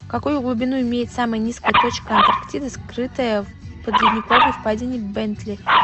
какую глубину имеет самая низкая точка антарктиды скрытая в подледниковой впадине бентли